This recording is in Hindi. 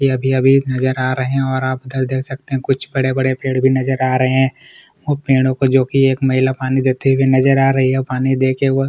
यह अभी-अभी नजर आ रहे है और आप इधर देख सकते है कुछ बड़े- बड़े पेड़ भी नजर आ रहे है ओ पेड़ों को जोकि एक महिला पानी देते हुए नजर आ रही है और पानी देके वह --